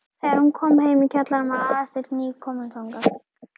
Þegar hún kom heim í kjallarann var Aðalsteinn nýkominn þangað.